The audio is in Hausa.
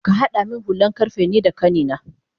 Kahada min hulan karfe nida kanina